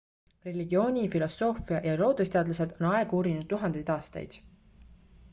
religiooni filosoofia ja loodusteadlased on aega uurinud tuhandeid aastaid